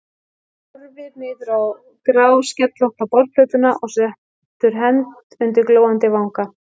Horfir niður á gráskellótta borðplötuna og setur hönd undir glóandi vanga.